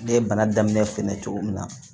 Ne ye bana daminɛ fɛnɛ cogo min na